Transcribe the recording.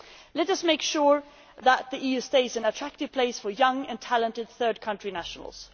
Let us make sure that the EU stays an attractive place for young and talented third country nationals.